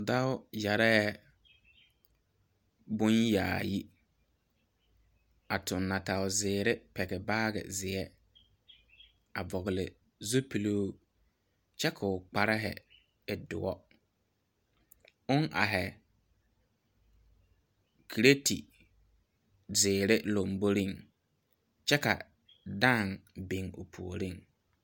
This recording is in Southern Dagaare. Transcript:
Dɔo yeere bon yaayi a tu natɛò ziiri pegle baagi zie a vɔgle zupelo kyɛ ko'o kparre e dɔo o are karete ziiri lanbore kyɛ a dãã biŋ o puori.